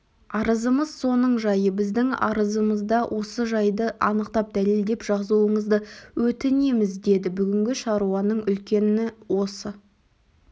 арызымыз соның жайы біздің арызымызда осы жайды анықтап дәлелдеп жазуыңызды өтінеміз деді бүгінгі шаруаның үлкені осы